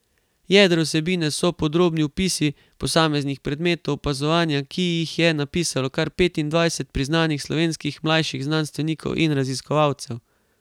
Jedro vsebine so podrobni opisi posameznih predmetov opazovanja, ki jih je napisalo kar petindvajset priznanih slovenskih mlajših znanstvenikov in raziskovalcev.